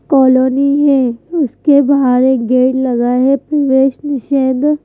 colony है उसके बाहर एक गेट लगा है प्रवेश निषेध--